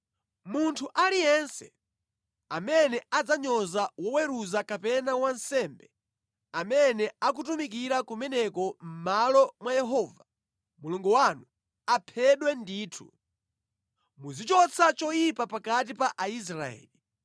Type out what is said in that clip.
Munthu aliyense amene adzanyoza woweruza kapena wansembe amene akutumikira kumeneko mʼmalo mwa Yehova Mulungu wanu, aphedwe ndithu. Muzichotsa choyipa pakati pa Israeli.